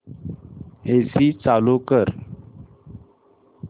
AC चालू कर